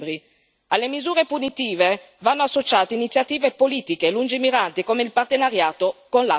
Alle misure punitive vanno associate iniziative politiche lungimiranti come il partenariato con l'Africa.